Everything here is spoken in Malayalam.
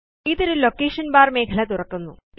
ഇത് ഒരു ലൊക്കേഷൻ ബാർ മേഖല തുറക്കുന്നു